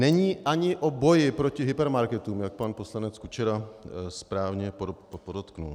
Není ani o boji proti hypermarketům, jak pan poslanec Kučera správně podotkl.